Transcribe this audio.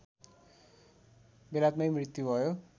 बेलायतमै मृत्यु भयो